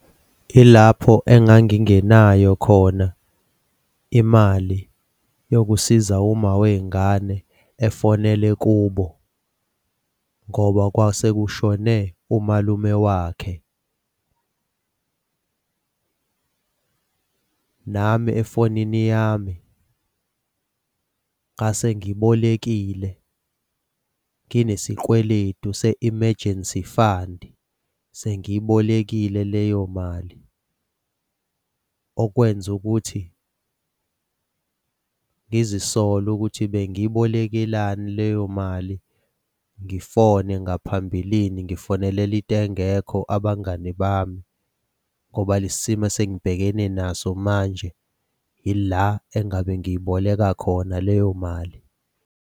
Ilapho engangingenayo khona imali yokusiza uma wey'ngane efonele kubo ngoba kwase kushone umalume wakhe. Nami efonini yami ngase ngibolekile nginesikweletu se-emergency fund-i, sengiyibolekile leyo mali. Okwenza ukuthi ngizisole ukuthi bengibolekelani leyo mali. Ngifone ngaphambilini ngifonelela into engekho abangani bami ngoba lesi simo esengibhekene naso manje, yila engabe ngiyiboleka khona leyo mali.